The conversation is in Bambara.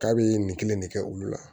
K'a bɛ nin kelen de kɛ olu la